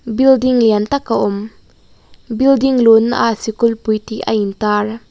building lian tak a awm building luhna ah sikul pui tih a intar.